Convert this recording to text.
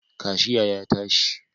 Kashiya ya tashi